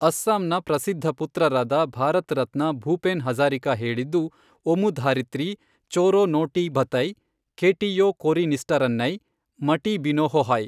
ಅಸ್ಸಾಂನ ಪ್ರಸಿದ್ಧ ಪುತ್ರರಾದ ಭಾರತ್ ರತ್ನ ಭೂಪೆನ್ ಹಜಾರಿಕಾ ಹೇಳಿದ್ದು ಒಮುಧಾರಿತ್ರಿ, ಚೊರೊನೊಟೀಬಥೈ, ಖೆಟಿಯೊಕೊರಿನಿಸ್ಟರನ್ನೈ, ಮಟಿಬಿನೋಹೋಹೈ.